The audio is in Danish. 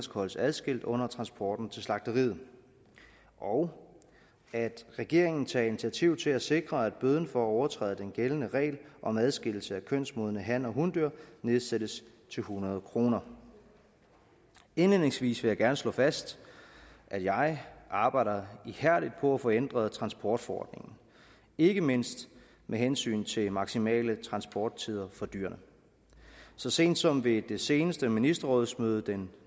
holdes adskilt under transporten til slagteriet og at regeringen tager initiativ til at sikre at bøden for at overtræde den gældende regler om adskillelse af kønsmodne han og hundyr nedsættes til hundrede kroner indledningsvis vil jeg gerne slå fast at jeg arbejder ihærdigt på at få ændret transportforordningen ikke mindst med hensyn til maksimale transporttider for dyrene så sent som på det seneste ministerrådsmøde den